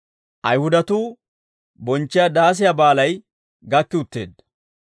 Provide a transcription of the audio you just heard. Ayihudatuu bonchchiyaa Daasiyaa Baalay gakki utteedda.